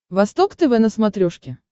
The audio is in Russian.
восток тв на смотрешке